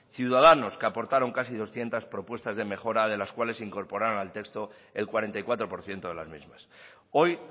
ciudadanos que aportaron casi doscientos propuestas de mejora de las cuales se incorporaron al texto el cuarenta y cuatro por ciento de las mismas hoy